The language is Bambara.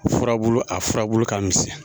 Ura a fura ka misɛn